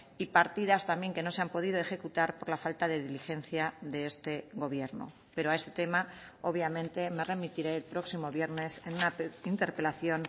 y partidas también que no se han podido ejecutar por la falta de diligencia de este gobierno pero a este tema obviamente me remitiré el próximo viernes en una interpelación